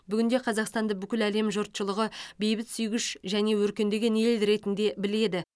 бүгінде қазақстанды бүкіл әлем жұртшылығы бейбітсүйгіш және өркендеген ел ретінде біледі